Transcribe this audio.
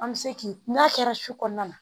An bɛ se k'i n'a kɛra su kɔnɔna na